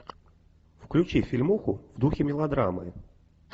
включи фильмуху в духе мелодрамы